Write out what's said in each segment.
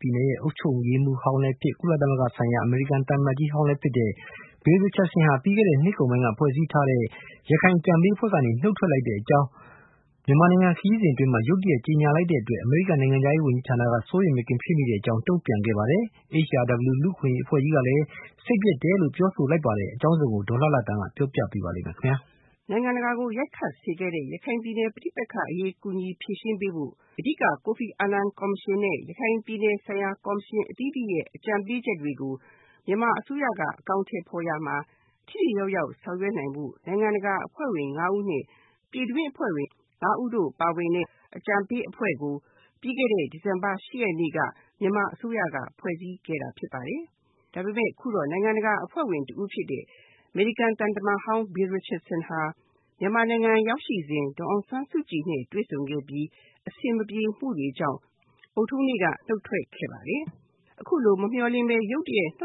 ပြည်နယ် အုပ်ချုပ်ရေးမှူးဟောင်းလည်းဖြစ် ကုလသမဂ္ဂဆိုင်ရာ အမေရိကန်သံအမတ်ကြီးဟောင်းလည်း ဖြစ်တဲ့ Bill Richardson ဟာ ပြီးခဲ့တဲ့ နှစ်ကုန်ပိုင်းက ဖွဲ့စည်းခဲ့တဲ့ ရခိုင်အကြံပေးအဖွဲ့ကနေ နှုတ်ထွက်တဲ့အကြောင်း မြန်မာနိုင်ငံ ခရီးစဉ် အတွင်း ရုတ်တရက် ကြေညာလိုက်တဲ့အတွက် အမေရိကန်နိုင်ငံခြားရေးဌာန က စိုးရိမ်မကင်း ဖြစ်မိကြောင်း တုန့်ပြန်ခဲ့ပါတယ်။ HRW လူ့အခွင့်အရေး အဖွဲ့ကြီးကလည်း စိတ်ပျက်မိတဲ့အကြောင်း ပြောဆိုပါတယ်။ အကြောင်းစုံကို ဒေါ်လှလှသန်းက ပြောပြပေးပါလိမ့်မယ်။ နိုင်ငံတကာကို ရိုက်ခတ်စေခဲ့တဲ့ ရခိုင်ပဋိပက္ခအရေး ကူညီဖြေရှင်းပေးဖို့ အဓိက ကိုဖီအာနန်ကော်မရှင်နဲ့ ရခိုင်ပြည်နယ်ဆိုင်ရာ ကော်မရှင်အသီးသီးရဲ့ အကြံပေးချက်တွေကို မြန်မာအစိုးရက အကောင်အထည်ဖေါ်ရာမှာ ထိထိရောက်ရောက်ဆောင်ရွက်နိုင်ဖို့ နိုင်ငံတကာအဖွဲ့ဝင် ငါးဦးနဲ့ ပြည်တွင်းအဖွဲ့ဝင် ငါးဦးတို့ပါဝင်တဲ့ အကြံပေးအဖွဲ့ကို ပြီးခဲ့တဲ့ ဒီဇင်ဘာ ၈ ရက်နေ့က မြန်မာအစိုးရက ဖွဲ့စည်းခဲ့တာဖြစ်ပါတယ်။ ဒါပေမယ့် အခုတော့ နိုင်ငံတကာအဖွဲ့ဝင်တဦးဖြစ်တဲ့ အမေရိကန်သံတမန်ဟောင်း Bill Richardson ဟာ မြန်မာနိုင်ငံရောက်ရှိစဉ် ဒေါ်အောင်ဆန်းစုကြည်နဲ့ တွေ့ဆုံခဲ့ပြီး အဆင်မပြေမှုတွေကြောင့် ဗုဒ္ဓဟူးနေ့က နှုတ်ထွက်ခဲ့ပါတယ်။ အခုလို မမျှော်လင့်ပဲ နှုတ်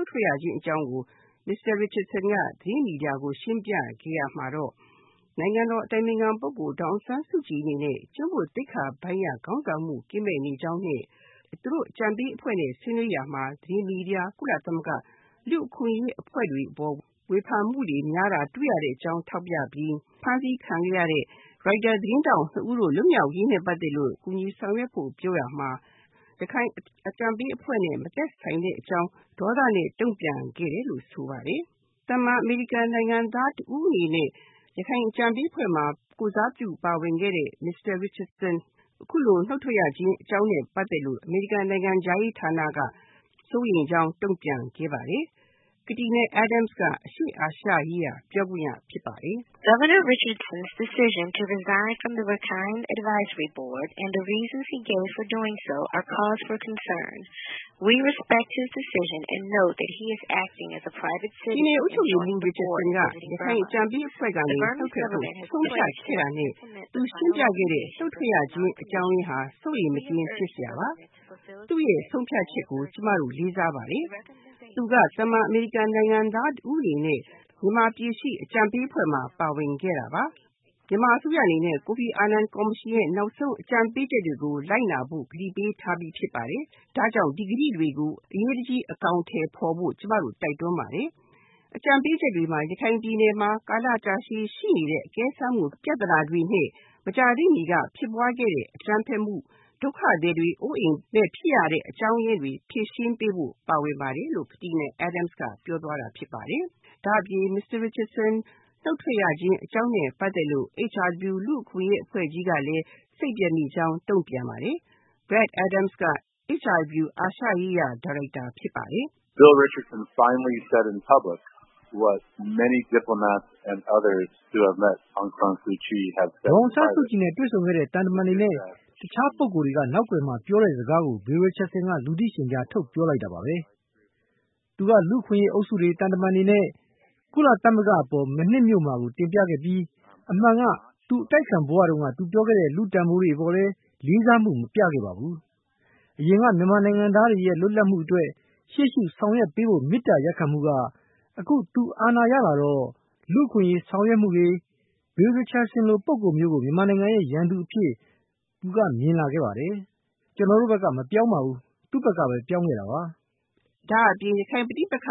ထွက်ရခြင်းအကြောင်းရင်းကို မစ္စတာ Richardson က သတင်းမီဒီယာတွေကို ရှင်းပြခဲ့ရာမှာတော့ နိုင်ငံတော်အတိုင်ပင်ခံပုဂ္ဂိုလ် ဒေါ်အောင်ဆန်းစုကြည်အနေနဲ့ ကျင့်ဝတ်သိက္ခာပိုင်းအရ ခေါင်းဆောင်မှု ကင်းမဲ့နေကြောင်းနဲ့ သူတို့အကြံပေးအဖွဲ့နဲ့ ဆွေးနွေးရာမှာ သတင်းမီဒီယာ၊ ကုလသမဂ္ဂ၊ လူ့အခွင့်အရေးအဖွဲ့တွေအပေါ် ဝေဖန်မှုတွေ များတာတွေ့ရတဲ့အကြောင်း ထောက်ပြပြီး ဖမ်းဆီးခံခဲ့ရတဲ့ ရိုက်တာသတင်းထောက်နှစ်ဦး လွတ်မြောက်ရေးနဲ့ ပတ်သက်လို့ ကူညီဆောင်ရွက်ဖို့ပြောရမှာ ရခိုင်အကြံပေးအဖွဲ့နဲ့ မသက်ဆိုင်တဲ့အကြောင်း ဒေါသနဲ့ တုန့်ပြန်ခဲ့တယ်လို့ ဆိုပါတယ်။ သာမန်အမေရိကန်နိုင်ငံသားတဦးအနေနဲ့ ရခိုင်အကြံပေးအဖွဲ့မှာ ကိုယ်စားပြုပါဝင်ခဲ့တဲ့ မစ္စတာ Richardson အခုလို နှုတ်ထွက်ရခြင်းအကြောင်းရင်းနဲ့ ပတ်သက်လို့ အမေရိကန်နိုင်ငံခြားရေးဌာနက စိုးရိမ်ကြောင်း တုန့်ပြန်ခဲ့ပါတယ်။ Katina Adams က အရှေ့အာရှရေးရာ ပြောခွင့်ရဖြစ်ပါတယ်။ “ပြည်နယ်အုပ်ချုပ်ရေးမှူးဟောင်း Bill Richardson ကရခိုင်အကြံပေးအဖွဲ့ကနေ နှုတ်ထွက်ဖို့ ဆုံးဖြတ်ခဲ့တာနဲ့ သူရှင်းပြခဲ့တဲ့ နှုတ်ထွက်ရခြင်းအကြောင်းရင်းဟာ စိုးရိမ်မကင်းဖြစ်စရာပါ။ သူ့ရဲ့ ဆုံးဖြတ်ချက်ကို ကျမတို့ လေးစားပါတယ်။ သူက သာမန်အမေရိကန်နိုင်ငံသားတဦးအနေနဲ့ မြန်မာပြည်ရှိ အကြံပေးအဖွဲ့မှာ ပါဝင်ခဲ့တာပါ။ မြန်မာအစိုးရအနေနဲ့ ကိုဖီအာနန်ကော်မရှင်ရဲ့ နောက်ဆုံးအကြံပေးချက်တွေကို လိုက်နာဖို့ ကတိပေးထားပြီးဖြစ်ပါတယ်။ ဒါကြောင့် ဒီဂတိတွေကို အရေးတကြီး အကောင်အထည်ဖေါ်ဖို့ ကျမတို့ တိုက်တွန်းပါတယ်။” အကြံပေးချက်တွေမှာ ရခိုင်ပြည်နယ်မှာ ကာလကြာရှည်ရှိနေတဲ့ အကဲစမ်းမှု ပြဿနာတွေနဲ့ မကြာသေးမှီက ဖြစ်ပွားခဲ့တဲ့ အကြမ်းဖက်မှု၊ ဒုက္ခသည်တွေရဲ့ အိုးအိမ်မဲ့ဖြစ်ရတဲ့အကြောင်းရင်းတွေ ဖြေရှင်းပေးဖို့ ပါဝင်ပါတယ်လို့ Katina Adams ကပြောသွားတာဖြစ်ပါတယ်။ ဒါအပြင် မစ္စတာ Richardson နှုတ်ထွက်ရခြင်း အကြောင်းအရင်းနဲ့ ပတ်သက်လို့ HRW လူ့အခွင့်အရေးအဖွဲ့ကြီးကလည်း စိတ်ပျက်မိကြောင်းတုန့်ပြန်ပါတယ်။ Brad Adams က HRW အာရှရေးရာ ညွန်ကြားရေးမှူးဖြစ်ပါတယ်။ “ဒေါ်အောင်ဆန်းစုကြည်နဲ့ တွေ့ဆုံခဲ့တဲ့ သံတမန်တွေနဲ့ တခြားပုဂ္ဂိုလ် တွေက နောက်ကွယ်မှာ ပြောတဲ့ စကားကို Bill Richardson က လူသိရှင်ကြား ထုတ်ပြောလိုက်တာပါပဲ။ သူက လူ့အခွင့်အရေး အုပ်စုတွေ၊ သံတမန်တွေနဲ့ ကုလသမဂ္ဂ အပေါ် မနှစ်မြို့မှာကို တင်ပြခဲ့ပြီး၊ အမှန်က သူအတိုက်အခံဘဝ တုန်းက သူပြောခဲ့တဲ့ လူ့တန်ဖိုးတွေ အပေါ်လဲ လေးစားမှုကို မပြခဲ့ပါဘူး။ အရင်က မြန်မာနိုင်ငံသားတွေရဲ့ လွတ်လပ်မှုအတွက် ရှေ့ရှု ဆောင်ရွက်ပေးဖို့ မေတ္တာရပ်ခံမှုက အခု သူအာဏာရလာတော့ လူ့အခွင့်အရေး ဆောင်ရွက်မှုတွေ၊ Bill Richardson လို ပုဂ္ဂိုလ်မျိုးကို မြန်မာနိုင်ငံရဲ့ ရန်သူအပြင် သူက မြင်လာခဲ့တယ်။ ကျွန်တော်တို့ ဘက်က မပြောင်းပါဘူး သူ့ဘက်ကပဲ ပြောင်းခဲ့တာပါ။” ဒါအပြင် ရခိုင်ပဋိပက္ခ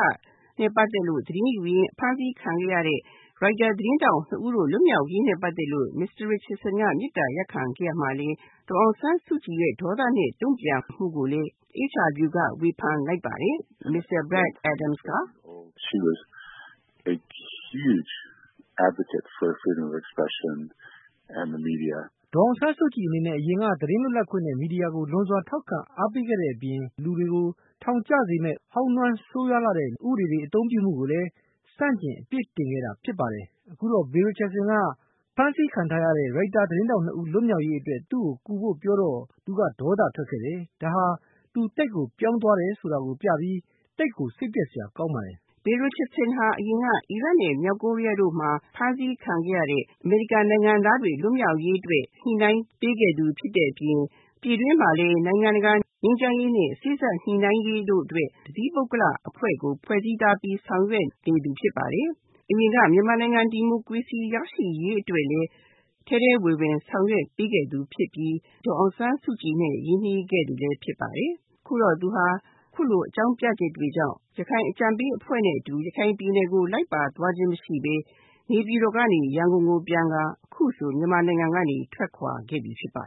နဲ့ ပတ်သက်လို့ သတင်းယူရင်း ဖမ်းဆီးခံခဲ့ရတဲ့ ရိုက်တာသတင်းထောက် နှစ်ဦး လွတ်မြောက်ရေးနဲ့ ပတ်သက်လို့ မစ္စတာ Richardson က မေတ္တာရပ်ခံခဲ့ရာမှာလည်း ဒေါ်အောင်ဆန်းစုကြည်ရဲ့ ဒေါသနဲ့ တုန့်ပြန်မှုကိုလည်း HRW ကဝေဖန်လိုက်ပါတယ်။ “ဒေါ်အောင်ဆန်းစုကြည်အနေနဲ့ အရင်က သတင်းလွတ်လပ်ခွင့်နဲ့ မီဒီယာကို လွန်စွာ ထောက်ခံ အားပေးခဲ့တဲ့ အပြင် ဟောင်းနွမ်း ဆိုးဝါးလှတဲ့ လူတွေကို ထောင်ကျစေမယ့် ဥပဒေတွေ အသုံးပြုမှုကို ဆန့်ကျင် အပစ်တင်ခဲ့တာ ဖြစ်ပါတယ်။ အခုတော့ Bill Richardson လို လူမျိုးက အဖမ်းဆီးခံ ထားရတဲ့ ရိုက်တာ သတင်းထောက် ၂ ဦး လွတ်မြောက်ရေး အတွက် သူ့ကို ကူဖို့ ပြောတော့ သူက ဒေါသ ထွက်ခဲ့တယ်။ ဒါဟာ သူသိပ်ကို ပြောင်းသွားတယ် ဆိုတာ ပြပြီး၊ သိပ်ကို စိတ်ပျက်စရာပါ။” Bill Richardson ဟာ အရင်က အီရတ်နဲ့ မြောက်ကိုရီးယားတို့မှာ ဖမ်းဆီးခံခဲ့ရတဲ့ အမေရိကန်နိုင်ငံသားတွေ လွတ်မြောက်ရေးအတွက် ညှိုနှိုင်းပေးခဲ့သူဖြစ်တဲ့အပြင် ပြည်တွင်းမှာလည်း နိုင်ငံတကာငြိမ်းချမ်းရေးနဲ့ စေ့စပ်ညှိုနှိုင်းရေးတို့အတွက် တသီးပုဂ္ဂလိက အဖွဲ့ကို ဖွဲ့စည်းထားပြီး ဆောင်ရွက်နေသူဖြစ်ပါတယ်။ အရင်က မြန်မာနိုင်ငံ ဒီမိုကရေစီရရှိရေးအတွက်လည်း ထဲထဲဝင်ဝင် ဆောင်ရွက်ပေးခဲ့သူဖြစ်ပြီး ဒေါ်အောင်ဆန်းစုကြည်နဲ့ ရင်းနှီးခဲ့သူလည်းဖြစ်ပါတယ်။ ခုတော့ သူဟာ အခုလို အကြောင်းပြချက်တွေကြောင့် ရခိုင်အကြံပေးအဖွဲ့နဲ့အတူ ရခိုင်ပြည်နယ်ကို လိုက်ပါသွားခြင်းမရှိပဲ နေပြည်တော်ကနေ ရန်ကုန်ကိုပြန်ကာ အခုဆို မြန်မာနိုင်ငံကနေ ထွက်ခွာခဲ့ပြီ ဖြစ်ပါ